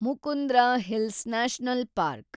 Mukundra hills national park